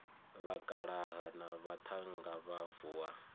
vhakalaha na vhaṱhannga vha vuwa